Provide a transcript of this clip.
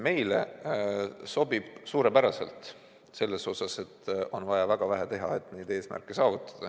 Meile sobib see suurepäraselt, sest eesmärkide saavutamiseks on vaja väga vähe teha.